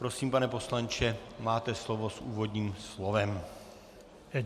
Prosím, pane poslanče, máte slovo s úvodním slovem.